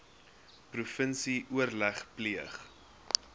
provinsie oorleg pleeg